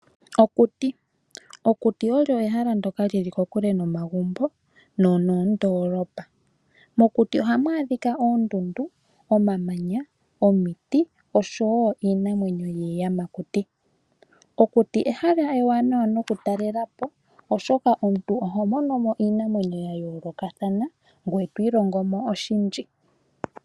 Okuti Okuti olyo ehala ndyoka li li kokule nomagumbo nonoondoolopa. Mokuti ohamu adhika oondundu, omamanya, omiti osho wo iinamwenyo yiiyamakuti. Okuti ehala ewanawa nokutalela po, oshoka omuntu oho mono mo iinamwenyo ya yoolokathana ngoye to ilongo mo oshindji.